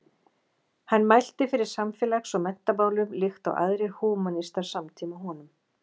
Hann mælti fyrir samfélags- og menntamálum líkt og aðrir húmanistar samtíma honum.